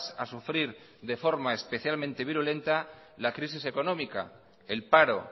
a sufrir de forma especialmente virulenta la crisis económica el paro